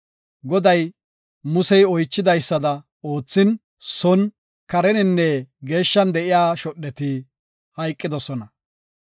Goday Musey oychidaysada oothin son, kareninne geeshshan de7iya shodheti hayqidosona.